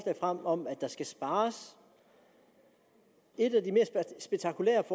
frem om at der skal spares et af de mest spektakulære